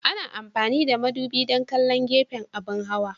Ana amfani da madubi don kallon gefen abin hawa.